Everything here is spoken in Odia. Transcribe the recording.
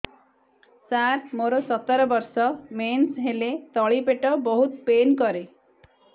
ସାର ମୋର ସତର ବର୍ଷ ମେନ୍ସେସ ହେଲେ ତଳି ପେଟ ବହୁତ ପେନ୍ କରେ